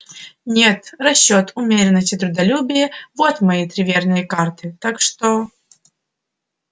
нет расчёт умеренность и трудолюбие вот мои три верные карты вот что утроит усемерит мой капитал и доставит мне покой и независимость